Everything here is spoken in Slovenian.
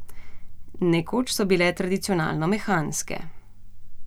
Nekoč so bile tradicionalno mehanske.